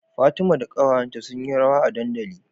Fatima da ƙawayanta sun yi rawa a dandali